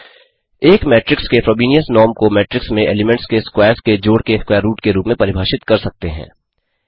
एक मेट्रिक्स के Frobenius norm को मेट्रिक्स में एलीमेंट्स के स्क्वैर्स के जोड़ के स्कवैर रूट के रूप में परिभाषित कर सकते हैं